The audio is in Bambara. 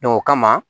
o kama